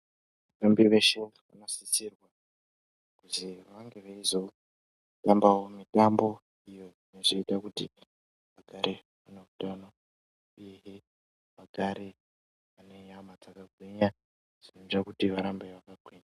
Vatambi veshe vanosisirwawo kuti vange veizogarawo veitambawo mitambo iyo inozoita kuti vagarewo vaine utano uyehe vagare vane nyama dzakagwinya.